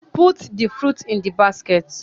Put the fruits in the basket